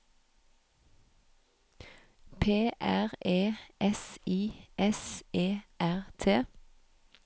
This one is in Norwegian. P R E S I S E R T